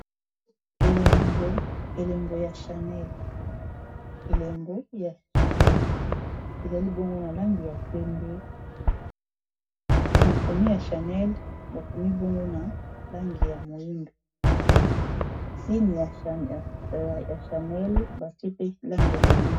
Elembo ya chanel, ezali bongo na langi ya pembe makomi ya chanel bakomi bongo na langi ya moyindo signe ya chanel batie pe langi ya moyindo.